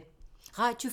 Radio 4